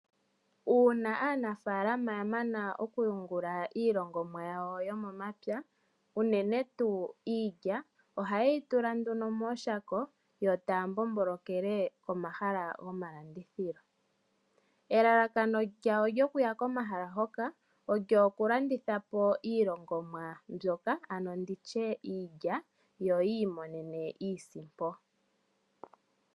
Uuna aanafaalama ya mana okuyungula iilongomwa yawo yomomapya unene tuu iilya, ohaye yi tula nduno mooshako yo taya mbombolokele komahala gomalandithilo. Elalakano lyawo lyokuya komahala hoka olyo kulanditha po iilongomwa mbyoka ano ndi tye iilya, yo yi i monene iisimpo.